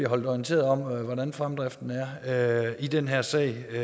holdt orienteret om hvordan fremdriften er i den her sag det